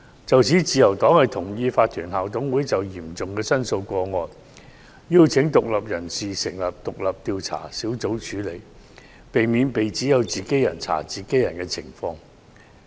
就此，自由黨同意，法團校董會應就嚴重申訴個案，邀請獨立人士成立獨立調查小組處理，避免被指為"自己人查自己人"。